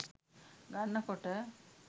ගන්න කොට